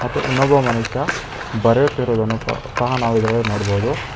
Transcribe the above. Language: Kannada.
ಮತ್ತು ಇನ್ನೊಬ್ಬ ಮನುಷ್ಯ ಬರೆಯುತ್ತಿರುವುದನ್ನು ಸಹ ನಾವಿದ್ರಲ್ಲಿ ನೋಡ್ಬೋದು.